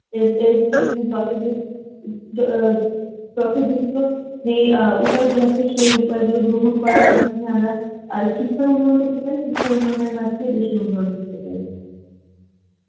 এর এর অ্যাঁ যে অ্যাঁ উপায়গুলো আছে সে উপায় গুলো গ্রহণ করার মাধ্যমে আমরা আ শিক্ষার উন্নয়ন করতে পারি আর শিক্ষার উন্নয়নের মাধ্যমে দেশের উন্নয়ন করতে পারি